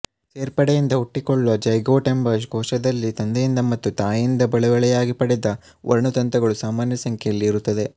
ಸೇರ್ಪಡೆಯಿಂದ ಹುಟ್ಟಿಕೊಳ್ಳುವ ಜೈಗೋಟ್ ಎಂಬ ಕೋಶದಲ್ಲಿ ತಂದೆಯಿಂದ ಮತ್ತು ತಾಯಿಯಿಂದ ಬಳುವಳಿಯಾಗಿ ಪಡೆದ ವರ್ಣತಂತುಗಳು ಸಮಾನಸಂಖ್ಯೆಯಲ್ಲಿ ಇರುತ್ತವೆ